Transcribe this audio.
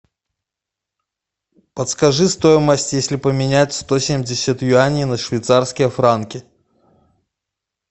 подскажи стоимость если поменять сто семьдесят юаней на швейцарские франки